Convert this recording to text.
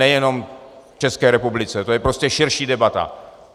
Nejenom v České republice, to je prostě širší debata.